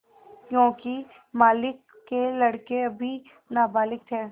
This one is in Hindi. योंकि मालिक के लड़के अभी नाबालिग थे